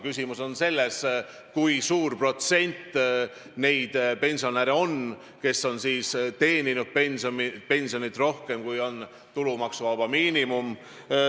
Küsimus on selles, kui suur protsent on neid pensionäre, kes saavad pensioni rohkem, kui on tulumaksuvaba miinimum.